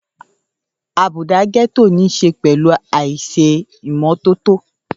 Àbùdá Gẹ́tò ní ṣe pẹ̀lú àìṣe ìmọ́tótó